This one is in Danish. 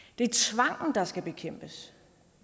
der er skal bekæmpes